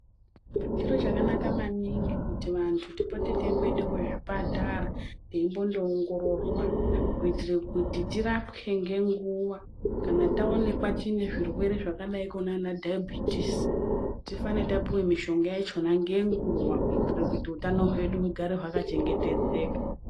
Chiro chaka naka maningi kuti vantu tipote teimboende ku zvipatara teitombo ongororwa kuitire kuti tirapwe ngenguva kana taonekwa tine zvirwere zvakadai nana dhaibhitisi tifane tapiwa mishonga yakona ngenguva kuitire kuti utano hwedu hugare hwaka chengetedzeka.